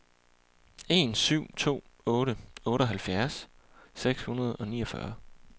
en syv to otte otteoghalvfjerds seks hundrede og niogfyrre